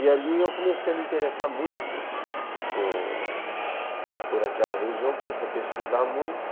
E ali eu comecei a me interessar muito por por aquela região, comecei a pesquisar muito.